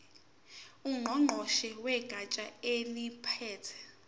ngqongqoshe wegatsha eliphethe